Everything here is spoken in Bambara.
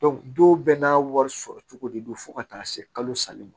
don bɛɛ n'a wari sɔrɔ cogo de don fo ka taa se kalo saba ma